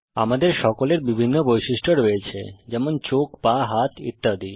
আমাদের সকলের বিভিন্ন বৈশিষ্ট্য রয়েছে যেমন চোখ পা হাত ইত্যাদি